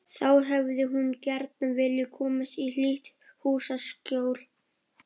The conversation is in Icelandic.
Þá hefði hún gjarna viljað komast í hlýtt húsaskjól.